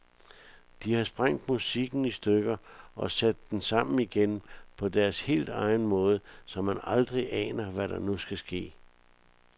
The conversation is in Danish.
De har sprængt musikken i stykker og sat den sammen igen på deres helt egen måde, så man aldrig aner, hvad der nu skal ske.